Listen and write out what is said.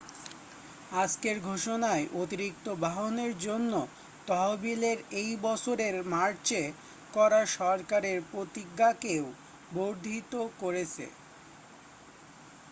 আজকের ঘোষণায় অতিরিক্ত বাহনের জন্য তহবিলের এই বছরের মার্চে করা সরকারের প্রতিজ্ঞাকেও বর্ধিত করেছে